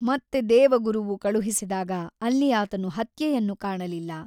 ಮತ್ತೆ ದೇವಗುರುವು ಕಳುಹಿಸಿದಾಗ ಅಲ್ಲಿ ಆತನು ಹತ್ಯೆಯನ್ನು ಕಾಣಲಿಲ್ಲ.